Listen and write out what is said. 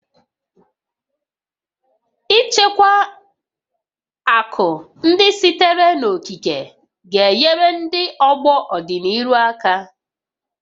Ichekwa akụ ndị sitere n'okike ga-enyere ndị ọgbọ n'ọdịnihu aka